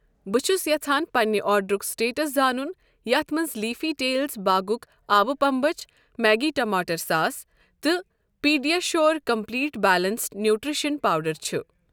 بہٕ چھس یژھان پننہِ آرڈرُک سٹیٹس زانُن یتھ مَنٛز لیٖفی ٹیلز باغُک آبہٕ پنٛبچھ میگی ٹماٹر ساس تہٕ PediaSure complete balanced nutrition powder چھ ۔